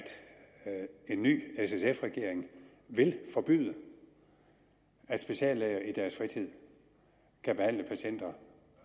en ny s sf regering vil forbyde at speciallæger i deres fritid kan behandle patienter